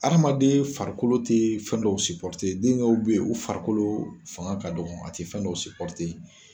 aramaden farikolo tɛ fɛn dɔw den dɔw bɛ yen u farikolo fanga ka dɔgɔn a tɛ fɛn dɔw .